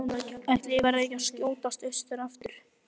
Ætli ég verði ekki að skjótast austur aftur.